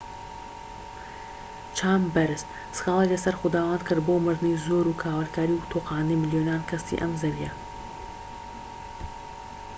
چامبەرس سكالای لەسەر خوداوەند کرد بۆ مردنی زۆر و کاولکاری و تۆقاندنی ملیۆنان کەسی ئەم زەویە